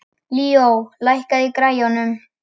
Líó, lækkaðu í græjunum.